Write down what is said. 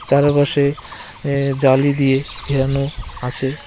চারপাশে এ জালি দিয়ে ঘেরানো আছে।